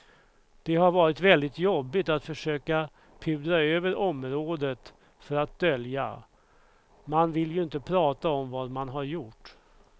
Det har varit väldigt jobbigt att försöka pudra över området för att dölja, man vill ju inte prata om vad man har gjort.